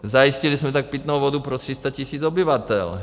Zajistili jsme tak pitnou vodu pro 300 tisíc obyvatel.